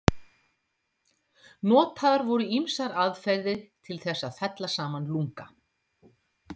Notaðar voru ýmsar aðferðir til þess að fella saman lunga.